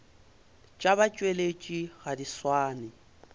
tša batšweletši ga di swane